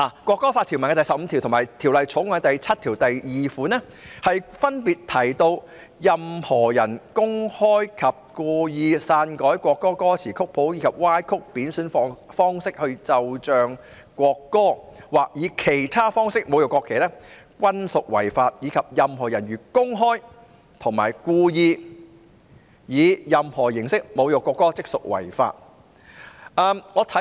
《國歌法》的第十五條與《條例草案》第7條分別提到，任何人如公開及故意篡改國歌歌詞或曲譜，或以歪曲或貶損的方式奏唱國歌，或以其他方式侮辱國歌均屬犯法，以及任何人如公開及故意以任何方式侮辱國歌，即屬犯罪。